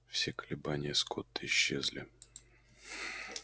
все колебания скотта исчезли